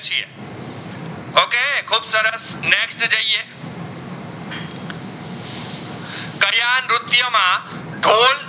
Thol